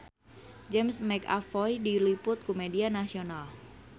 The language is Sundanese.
James McAvoy diliput ku media nasional